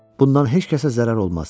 Bundan heç kəsə zərər olmaz.